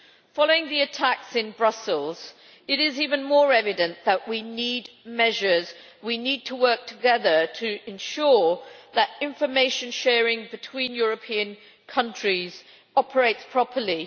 Following the attacks in Brussels, it is even more evident that we need measures, and we need to work together to ensure that information sharing between European countries operates properly.